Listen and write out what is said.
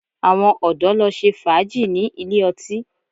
Àwọn ọ̀dọ̀ lọ ṣe fàájì ní ilé ọtí